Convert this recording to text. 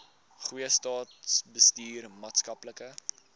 goeie staatsbestuur maatskaplike